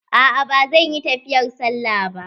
A'a ba zan yi tafiyar sallah ba.